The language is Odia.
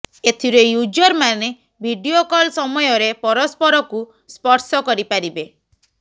ଏଥିରେ ୟୁଜରମାନେ ଭିଡିଓ କଲ୍ ସମୟରେ ପରସ୍ପରକୁ ସ୍ପର୍ଶ କରିପାରିବେ